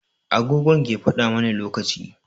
Agogo ke faɗa mana lokaci.